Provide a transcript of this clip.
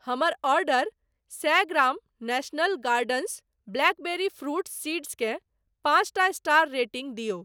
हमर ऑर्डर सए gram national gardens blackberry fruit seeds केँ पाँचटा स्टार रेटिंग दियौ।